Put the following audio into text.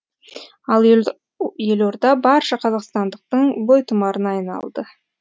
ал елорда барша қазақстандықтың бойтұмарына айналды